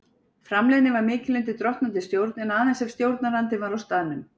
Framleiðni var mikil undir drottnandi stjórn, en aðeins ef stjórnandinn var á staðnum.